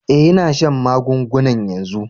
Eh, n'na shan magungunan yanzu.